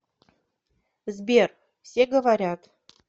сбер все говорят